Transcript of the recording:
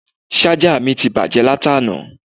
Ṣájà mi ti bàjẹ́ láti àná